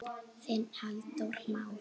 Þinn Halldór Már.